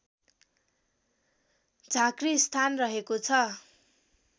झाँक्रीस्थान रहेको छ